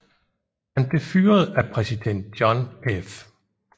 Han blev fyret af præsident John F